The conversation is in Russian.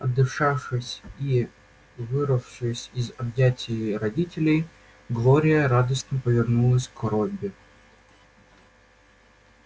отдышавшись и вырвавшись из объятий родителей глория радостно повернулась к робби